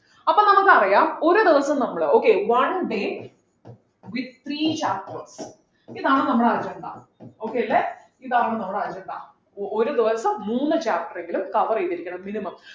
അപ്പോൾ നമുക്കറിയാം ഒരു ദിവസം നമ്മള് okay one day with three chapters ഇതാണ് നമ്മളെ agenda okay അല്ലെ ഇതാണ് നമ്മളെ agenda ഒരു ദിവസം മൂന്നു chapter എങ്കിലും cover ചെയ്തിരിക്കണം minimum